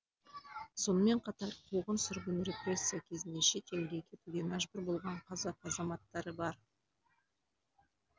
сонымен қатар қуғын сүргін репрессия кезінде шет елге кетуге мәжбүр болған қазақ азаматтары бар